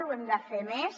ho hem de fer més